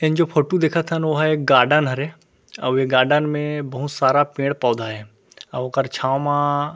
in जो photo देखत हन ओहा एक गार्डन हरे अउ ये गार्डन में बहुत सारा पेड़ पौधा हे अउ ओकर छाव मा --